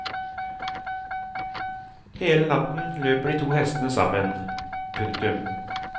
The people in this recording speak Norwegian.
Hele natten løper de to hestene sammen. punktum